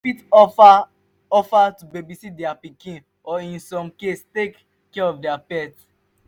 you fit offer offer to babysit their pikin or in some case take care of their pet